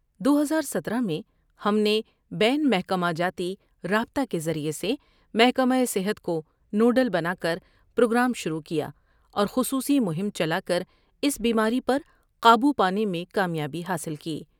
دو ہزار ستارہ میں ہم نے بین محکمہ جاتی رابطہ کے ذریعہ سے محکمہ صحت کونو ڈل بنا کر پروگرام شروع کیا اور خصوصی مہم چلا کر اس بیماری پر قابو پانے میں کامیابی حاصل کی ۔